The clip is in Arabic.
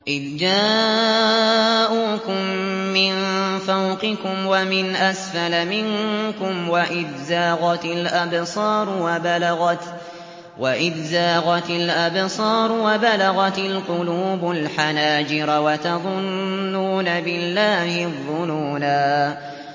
إِذْ جَاءُوكُم مِّن فَوْقِكُمْ وَمِنْ أَسْفَلَ مِنكُمْ وَإِذْ زَاغَتِ الْأَبْصَارُ وَبَلَغَتِ الْقُلُوبُ الْحَنَاجِرَ وَتَظُنُّونَ بِاللَّهِ الظُّنُونَا